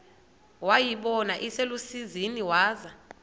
wayibona iselusizini waza